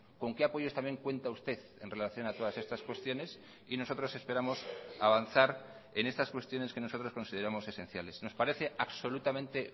con qué apoyos también cuenta usted en relación a todas estas cuestiones y nosotros esperamos avanzar en estas cuestiones que nosotros consideramos esenciales nos parece absolutamente